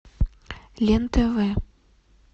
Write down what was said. лен тв